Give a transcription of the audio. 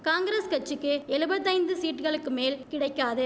காங்கிரஸ் கட்சிக்கு எழுபத்தைந்து சீட்களுக்குமேல் கிடைக்காது